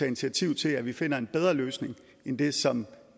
initiativ til at vi finder en bedre løsning end den som